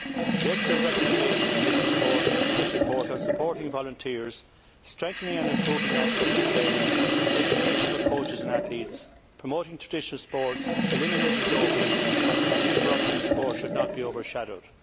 The excellent recommendations in this report on supporting volunteers, strengthening and improving access to training, education for coaches and athletes, promoting traditional sports, eliminating doping and tackling corruption in sport should not be overshadowed.